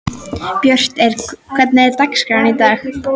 Björt, hvernig er dagskráin í dag?